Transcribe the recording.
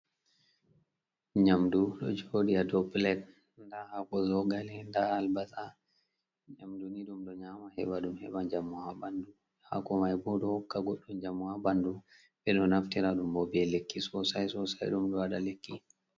Nyamdu ɗo jooɗi haa dow pulet, ndaa haako zogale, ndaa albasa .Nyamdu ni ɗum ɗo nyaama heɓa, ɗum heɓa njamu haa ɓanndu. Haako may bo, ɗo hokka goɗɗo njamu haa ɓanndu. Ɓe ɗo naftira ɗum bo, be lekki sosay sosay, ɗum ɗo waɗa lekki.